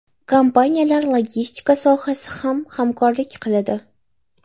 Kompaniyalar logistika sohasida ham hamkorlik qiladi.